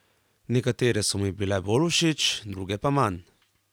Nekatere so mi bile bolj všeč, druge pa manj.